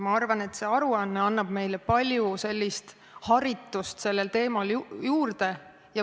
Ma arvan, et see aruanne annab meile palju haritust sellel teemal juurde.